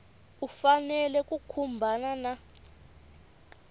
u fanele ku khumbana na